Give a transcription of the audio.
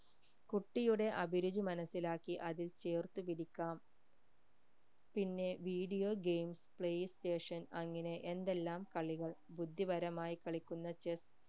കുട്ടിയുടെ അഭിരുചി മനസിലാക്കി അതിൽ ചേർത്തു പിടിക്കാം പിന്നെ video game play station അങ്ങനെ എന്തെല്ലാം കളികൾ ബുദ്ധിപരമായി കളിക്കുന്ന chess